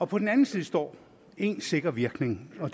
på den anden side står én sikker virkning og